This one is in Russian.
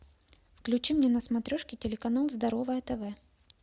включи мне на смотрешке телеканал здоровое тв